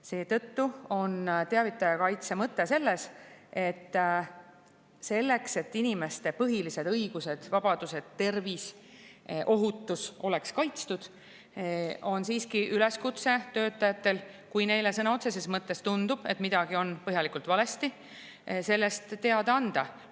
Seetõttu on teavitaja kaitse mõte selline: selleks, et inimeste põhilised õigused, vabadused ja tervis oleks kaitstud ja ohutus, on töötajatele üleskutse, et kui kellelegi sõna otseses mõttes tundub midagi olevat põhjalikult valesti, siis tuleb sellest teada anda.